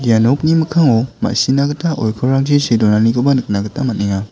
ia nokni mikkango ma·sina gita oikorrangchi see donanikoba nikna gita man·enga.